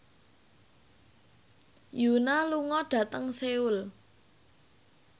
Yoona lunga dhateng Seoul